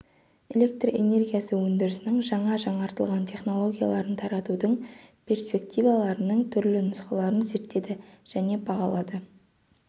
электр энергиясы өндірісінің жаңа жаңартылатын технологияларын таратудың перспективаларының түрлі нұсқаларын зерттеді және бағалады